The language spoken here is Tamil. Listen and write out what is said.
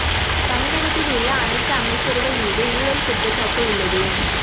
தமிழகத்தில் உள்ள அனைத்து அமைச்சர்கள் மீதும் ஊழல் குற்றச்சாட்டு உள்ளது